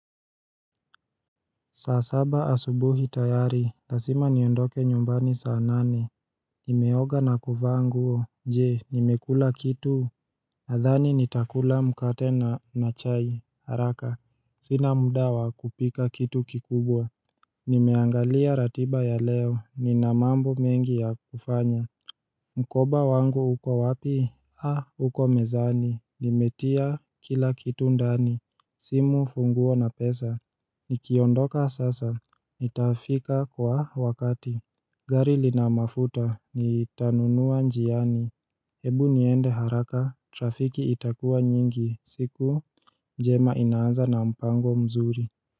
Saa saba asubuhi tayari, lasima niondoke nyumbani saa nane Nimeoga na kuvaa nguo, je, nimekula kitu nadhani nitakula mkate na chai, haraka Sina muda wa kupika kitu kikubwa Nimeangalia ratiba ya leo, nina mambo mengi ya kufanya Mkoba wangu uko wapi? Ha, uko mezani, nimetia kila kitu ndani simu funguo na pesa Nikiondoka sasa Nitafika kwa wakati gari lina mafuta Nitanunua njiani Hebu niende haraka Trafiki itakua nyingi siku njema inaanza na mpango mzuri.